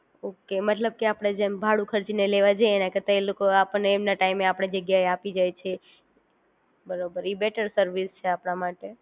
okay મતલબ કે આપદ જેમ ભાડું ખરચી ને લેવા જઈએ એના કરતાં એ લોકો આપણ ને એમના ટાઇમ આપણી જગ્યા એ આપી જાય છે, એ બરોબર એ બેટર સર્વિસ છે આપના માટે